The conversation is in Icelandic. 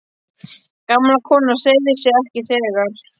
Gamla konan hreyfði sig ekki, þegar